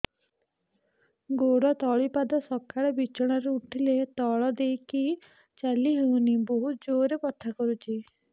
ଗୋଡ ତଳି ପାଦ ସକାଳେ ବିଛଣା ରୁ ଉଠିଲେ ତଳେ ଦେଇକି ଚାଲିହଉନି ବହୁତ ଜୋର ରେ ବଥା କରୁଛି